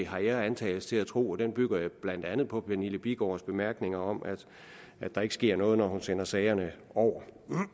har jeg antagelse til at tro og den bygger jeg blandt andet på pernille bigaards bemærkninger om at der ikke sker noget når hun sender sagerne over